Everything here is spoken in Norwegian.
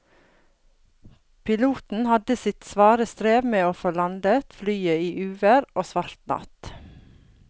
Piloten hadde sitt svare strev med å få landet flyet i uvær og svart natt.